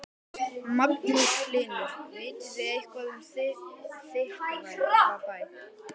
Magnús Hlynur: Vitið þið eitthvað um Þykkvabæ?